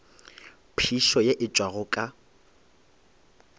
phišo ye e tšwago ka